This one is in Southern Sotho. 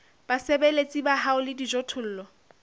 basebeletsi ba hao le dijothollo